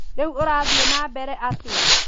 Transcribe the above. Rĩu urathiĩ na mbere atĩa